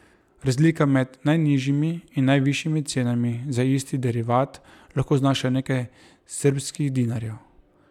Razlika med najnižjimi in najvišjimi cenami za isti derivat lahko znaša nekaj srbskih dinarjev.